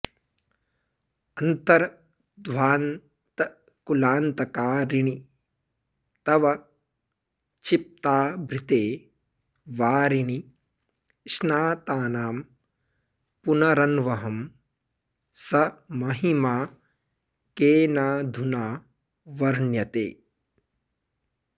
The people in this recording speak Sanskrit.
अन्तर्ध्वान्तकुलान्तकारिणि तव क्षिप्ताभृते वारिणि स्नातानां पुनरन्वहं स महिमा केनाधुना वर्ण्यते